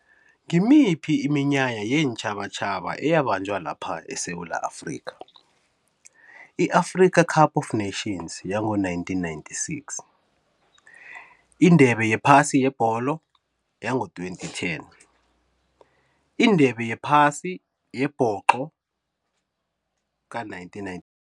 Ngimiphi iminyanya yeentjhabatjhaba eyabanjwa lapha eSewula Afrikha? I-Africa Cup Of Nations yango-nineteen ninety-six, indebe yephasi yebholo yango-twenty ten, indebe yephasi yebhoxo ka-nineteen nine.